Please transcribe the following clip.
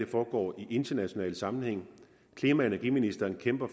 foregår i international sammenhæng klima og energiministeren kæmper